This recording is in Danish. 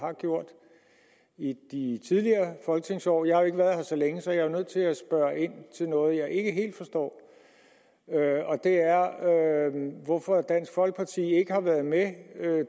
har gjort i tidligere folketingsår jeg har jo ikke været her så længe så jeg er nødt til at spørge ind til noget jeg ikke helt forstår og det er hvorfor dansk folkeparti ikke har været med